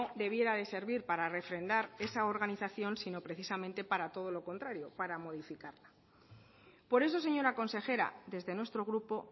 debiera de servir para refrendar esa organización sino precisamente para todo los contrario para modificarla por eso señora consejera desde nuestro grupo